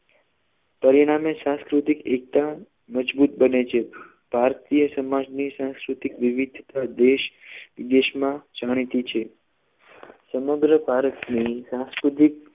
પરિણામે સંસ્કૃતિક એકતા મજબૂત બને છે ભારતીય સમાજ ની સંસ્કૃતિ વિવિધતા દેશ દેશમાં જાણીતી છે સમગ્ર ભારતની સંસ્કૃતિક